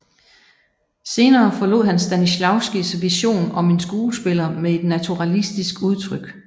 Senere forlod han Stanislavskijs vision om en skuespiller med et naturalistisk udtryk